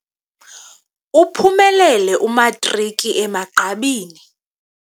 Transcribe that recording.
Uphumelele imatriki emagqabini.